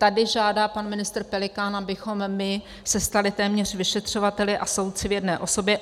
Tady žádá pan ministr Pelikán, abychom my se stali téměř vyšetřovateli a soudci v jedné osobě.